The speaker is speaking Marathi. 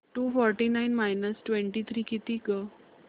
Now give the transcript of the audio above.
to forty nine minus twenty three किती गं